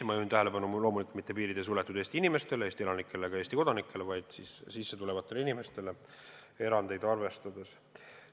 Ma juhin tähelepanu, et loomulikult piiri ei suletud Eesti inimestele, Eesti elanikele ega Eesti kodanikele, vaid teistele sissetulevatele inimestele, seejuures erandeid arvestades.